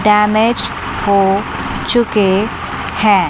Damage हो चुके हैं।